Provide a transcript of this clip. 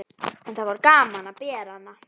En það var gaman að bera hana.